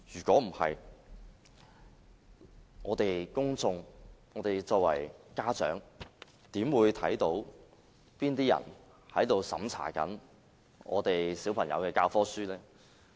否則，公眾和作為家長的市民，又怎會知道哪些人正在審查小朋友的教科書呢？